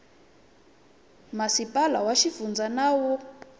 masipala wa xifundza na wa